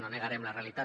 no negarem la realitat